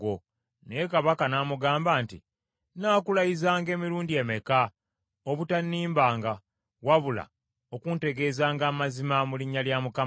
Naye kabaka n’amugamba nti, “Nnaakulayizanga emirundi emeka, obutannimbanga wabula okuntegeezanga amazima mu linnya lya Mukama ?”